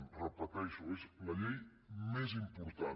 ho repeteixo és la llei més important